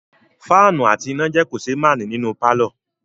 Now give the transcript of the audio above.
Fáànù àti iná jẹ́ kòṣeémánìí nínú pàlọ́